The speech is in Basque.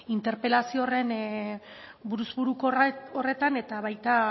interpelazio horren buruz buruko horretan eta baita